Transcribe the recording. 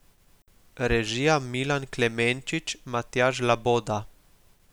Režija Milan Klemenčič, Matjaž Loboda.